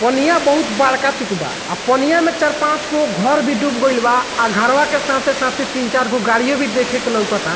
पनिया बहुत बड़का चूक बा आ पनिया में चार पांचगो घर भी डूब गइल बा आ घरवा के साथे-साथे तीन चारगो गाड़ियो भी देखे के लउकता।